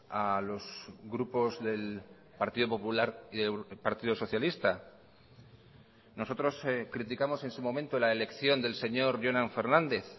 a los grupos del partido popular y del partido socialista nosotros criticamos en su momento la elección del señor jonan fernández